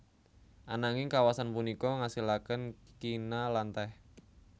Ananging kawasan punika ngasilaken kina lan teh